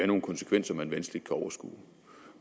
nogle konsekvenser man vanskeligt kan overskue